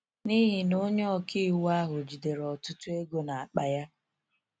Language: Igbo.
N’ihi na onye ọka iwu ahụ jidere ọtụtụ ego n’akpa ya.